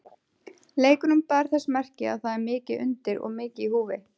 Leikurinn bar þess merki að það er mikið undir og mikið í húfi.